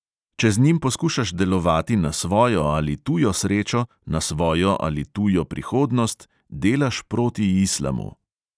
Če z njim poskušaš delovati na svojo ali tujo srečo, na svojo ali tujo prihodnost, delaš proti islamu.